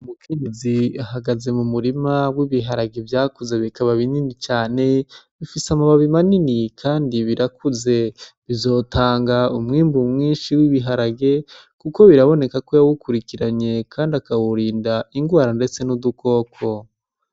Umukenyezi ahagaze mu murima w'ibiharage vyakuze bikaba binini cane, bifis' amababi manini kandi birakuze bizotang'umwimbu mwinshi w'ibiharage kuko biraboneka ko yawukurinye akawurind'ingwara ndetse n'udukoko.